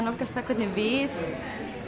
nálgast það hvernig við